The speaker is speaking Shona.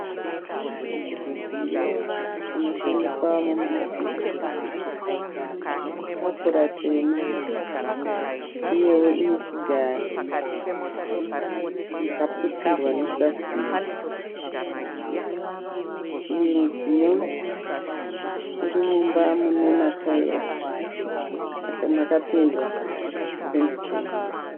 Mudziyo unoshandiswa muma hofisi . Tafura tema ,uyewo ine chigaro chakaputirwa nepurasitiki. Uyu mudziyo urimumba mune mataera, makapendwa nependi chena.